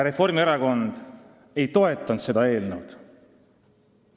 Reformierakond ei toetanud seda eelnõu.